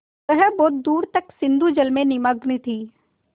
वह बहुत दूर तक सिंधुजल में निमग्न थी